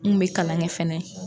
Un bɛ kalan kɛ fɛnɛ.